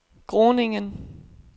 Groningen